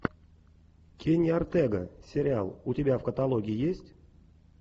кенни ортега сериал у тебя в каталоге есть